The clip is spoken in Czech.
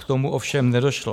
K tomu ovšem nedošlo.